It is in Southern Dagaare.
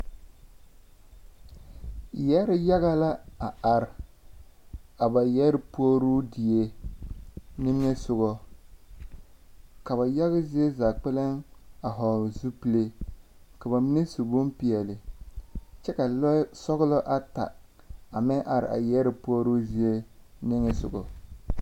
Yԑre yaga la a are, a ba yԑre puori die niŋe sogͻ. Ka ba yaga zie zaa kpԑlem a vͻgele zupile, ka ba mine su bompeԑle kyԑ ka lͻͻ sͻgelͻ ata a meŋ are a yԑre puoruu zie niŋe sogͻ.